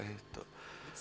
hitt